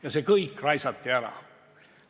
Ja see kõik raisati ära!